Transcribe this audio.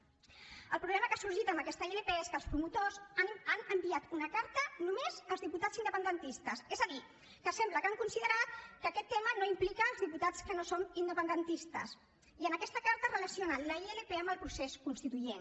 el problema que ha sorgit amb aquesta ilp és que els promotors han enviat una carta només als diputats independentistes és a dir que sembla que han considerat que aquest tema no implica els diputats que no som independentistes i en aquesta carta relacionen la ilp amb el procés constituent